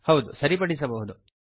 ಹೌದು ಸರಿಪಡಿಸಬಹುದು